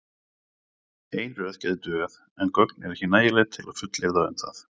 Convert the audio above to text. Ein röð gæti dugað en gögn eru ekki nægileg til að fullyrða um það.